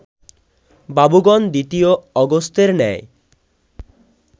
বাবুগণ দ্বিতীয় অগস্ত্যের ন্যায়